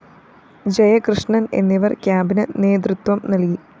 ജയകൃഷ്ണന്‍ എന്നിവര്‍ ക്യാമ്പിന് നേതൃത്വം നല്‍കി